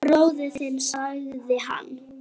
Bróðir þinn sagði hann.